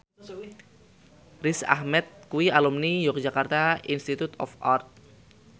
Riz Ahmed kuwi alumni Yogyakarta Institute of Art